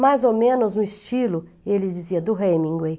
Mais ou menos no estilo, ele dizia, do Hemingway.